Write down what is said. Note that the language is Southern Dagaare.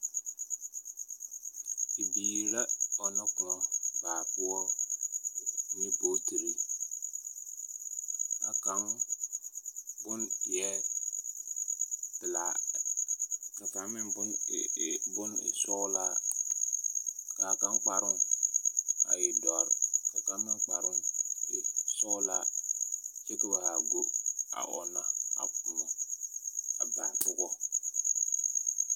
Bibiiri la ɔnnɔ kõɔ baa poɔ ne bootiri,. A kaŋ bon eɛɛ pelaa, ka kaŋ meŋ bon e e bon e sɔɔlaa. K'a kaŋ kparoŋ a e dɔr, ka kaŋ meŋ kparoŋ e sɔɔlaa kyɛ ka ba haa go a ɔnna a kõɔ a baa pogɔ.